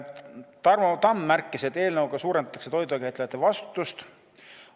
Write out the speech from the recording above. Tarmo Tamm märkis, et eelnõuga suurendatakse toidukäitlejate vastutust.